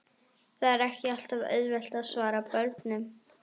Það er ekki alltaf auðvelt að svara börnunum.